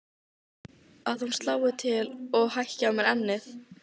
Að hún slái til og hækki á mér ennið.